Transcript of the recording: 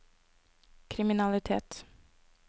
kriminalitet